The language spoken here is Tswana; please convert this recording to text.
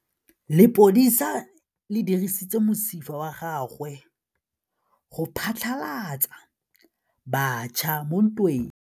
Lepodisa le dirisitse mosifa wa gagwe go phatlalatsa batšha mo ntweng.